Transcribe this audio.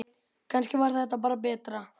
Kannski var það bara betra.